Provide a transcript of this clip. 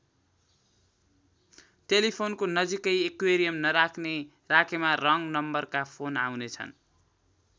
टेलिफोनको नजिकै एक्युरियम नराख्ने राखेमा रङ नम्बरका फोन आउने छन्।